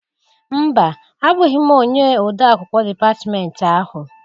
Mba! Abụghị m onye ode akwụkwọ dịpatmenti ahụ.